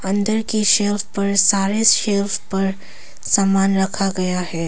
अंदर के सेल्फ पर सारे सेल्फ पर समान रखा गया है।